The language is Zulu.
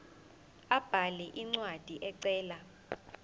abhale incwadi ecela